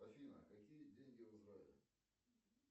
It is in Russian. афина какие деньги в израиле